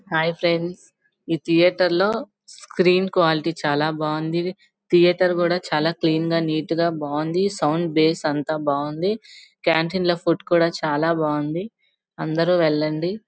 Hi friends ఈ theatre లో screen quality చాలా బాగుంది.థియేటర్ లో కూడా చాల క్లీన్ గ నీతిగా బాగుంది. సౌండ్ బాస్ అంత బాగుంది. కాంటీన్ లో ఫుడ్ కూడా చాలా బాగుంది. అందరూ వెళ్లనుంది.